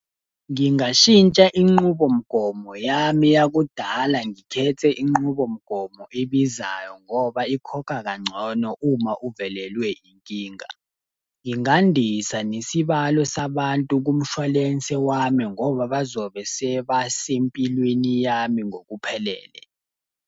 Ngingashintsha inqubomgomo yami yakudala ngikhethe inqubomgomo ebizayo ngoba ikhokha kangcono uma uvelelwe inkinga. Ingandisa nesibalo sabantu kumshwalense wami ngoba bazobe sebase mpilweni yami ngokuphelele.